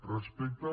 respecte a